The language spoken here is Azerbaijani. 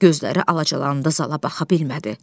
Gözləri alacalandı, zala baxa bilmədi.